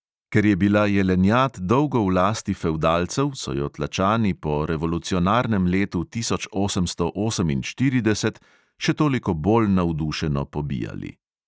Ker je bila jelenjad dolgo v lasti fevdalcev, so jo tlačani po revolucionarnem letu tisoč osemsto oseminštirideset še toliko bolj navdušeno pobijali.